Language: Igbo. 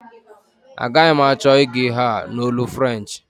Agaghi m achọ ịgụ ihe a n'olu French